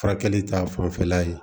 Furakɛli ta fanfɛla ye